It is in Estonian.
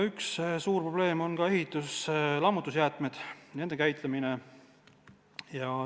Üks suur probleem on ehitus-lammutusjäätmed, nende käitlemine.